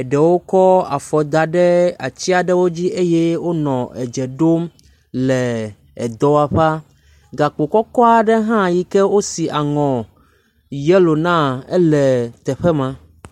eɖewo kɔ afɔ da ɖe atsi aɖewo dzi eye wonɔ edze ɖom le edɔwɔƒea. Gakpo kɔkɔ aɖe hã yi ke wosi aŋɔ yɛlo naa le teƒe ma.